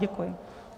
Děkuji.